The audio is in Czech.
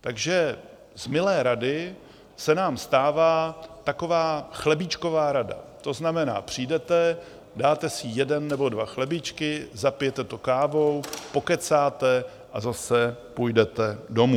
Takže z milé rady se nám stává taková chlebíčková rada, to znamená, přijdete, dáte si jeden nebo dva chlebíčky, zapijete to kávou, pokecáte a zase půjdete domů.